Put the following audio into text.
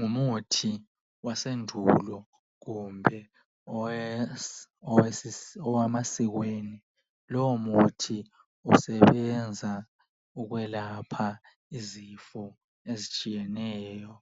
Ngumuthi wasendulo kumbe owemasikweni. Lowo muthi usebenza ukwelapha izifo ezitshiyeneyo